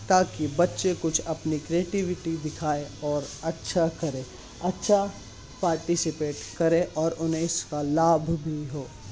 ताकी बच्चे कुछ अपनी क्रिएटिविटी दिखाए और अच्छा करे अच्छा पार्टिसिपेट करे और उन्हें इसका लाभ भी हो।